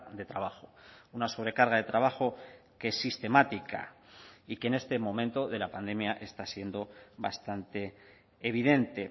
de trabajo una sobrecarga de trabajo que es sistemática y que en este momento de la pandemia está siendo bastante evidente